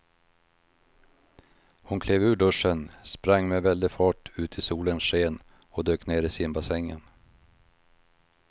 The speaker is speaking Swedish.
Hon klev ur duschen, sprang med väldig fart ut i solens sken och dök ner i simbassängen.